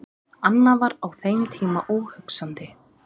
Annað var á þeim tíma óhugsandi.